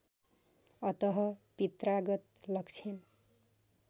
अतः पित्रागत लक्षण